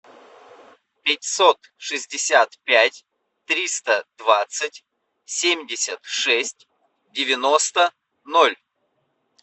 пятьсот шестьдесят пять триста двадцать семьдесят шесть девяносто ноль